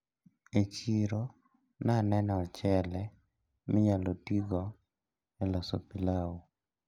E chiro naneno ochele minyalo tigodo e loso pilau.